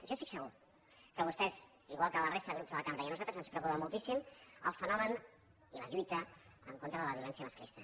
jo estic segur que a vostès igual que a la resta de grups de la cambra i a nosaltres els preocupa moltíssim el fenomen i la lluita en contra de la violència masclista